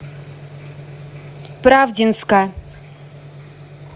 правдинска